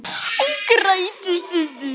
Hún grætur um stund.